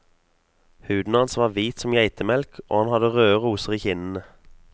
Huden hans var hvit som geitemelk og han hadde røde roser i kinnene.